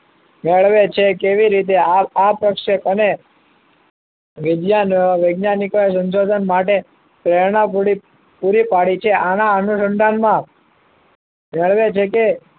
મેળવે છે કેવી રીતે આ પ્રશ્ન અને બીજા નવા વૈજ્ઞાનિકોએ સંશોધન માટે પ્રેરણા પૂરી પાડી છે આના અનુસંધાનમાં મેળવે છે કે